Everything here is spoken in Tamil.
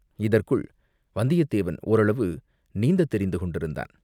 இதற்குள் வந்தியத்தேவன் ஓரளவு நீந்தத் தெரிந்து கொண்டிருந்தான்.